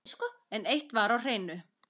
En eitt var á hreinu.